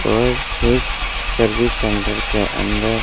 और इस service centre के अंदर--